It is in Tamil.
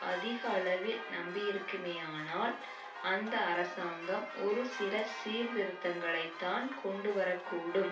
அதிக அளவில் நம்பியிருக்குமானால் அந்த அரசாங்கம் ஒரு சில சீர்திருத்தங்களைத்தான் கொண்டு வரக்கூடும்